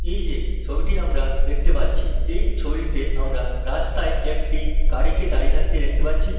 এই যে ছবিটি আমরা দেখতে পাচ্ছি এই ছবিটি তে আমরা রাস্তায় একটি গাড়িকে দাঁড়িয়ে থাকতে দেখতে পাচ্ছি।